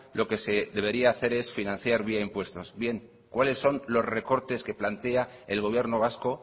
lo que se debería hacer es financiar vía impuestos bien cuáles son los recortes que plantea el gobierno vasco